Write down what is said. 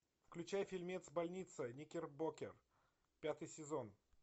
включай фильмец больница никербокер пятый сезон